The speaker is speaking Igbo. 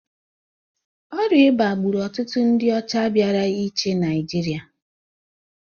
Ọrịa ịba gburu ọtụtụ ndị ọcha bịara ịchị Naijiria